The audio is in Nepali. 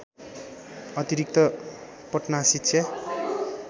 अतिरिक्त पटना शिक्षा